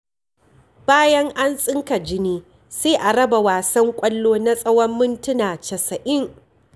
Bayan an tsinka jini sai a raba wasan ƙwallo na tsawon mintuna casa'in.